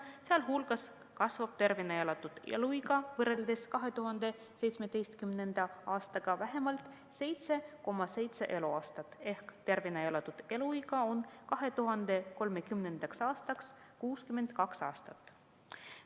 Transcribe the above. Sealhulgas kasvab tervena elatud eluiga neil võrreldes 2017. aastaga vähemalt 7,7 eluaastat ehk tervena elatud eluiga on 2030. aastaks 62 aastat.